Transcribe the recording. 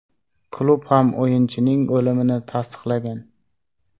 Klub ham o‘yinchining o‘limini tasdiqlagan.